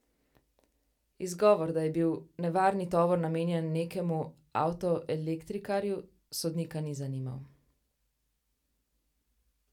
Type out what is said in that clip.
Izgovor, da je bil nevarni tovor namenjen nekemu avtoelektrikarju, sodnika ni zanimal.